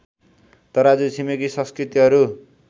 तराजु छिमेकि संस्कृतिहरू